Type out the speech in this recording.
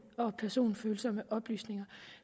og personfølsomme oplysninger